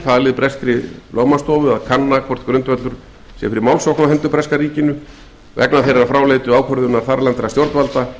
falið breskri lögfræðistofu að kanna hvort grundvöllur sé fyrir málssókn á hendur breska ríkinu vegna þeirrar fráleitu ákvörðunar þarlendra stjórnvalda